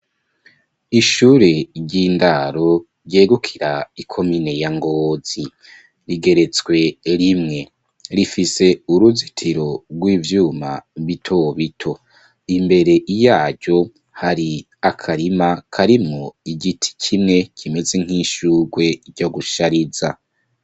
Ishure ry'indaro ryegukira ikomine ya Ngozi rigeretswe rimwe, rifise uruzitiro rw'ivyuma bito bito imbere yaryo hari akarima karimwo igiti kimwe kimeze nk'ishugwe ryo gushariza.